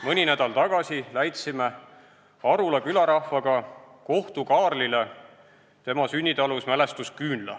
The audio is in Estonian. Mõni nädal tagasi läitsime Arula külarahvaga Kohtu-Kaarlile tema sünnitalus mälestusküünla.